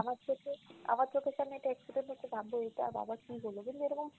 আবার চোখে, আবার চোখের সামনে একটা accident হলে ভাববো এটা আবার কী হলো, কিন্তু এরকম,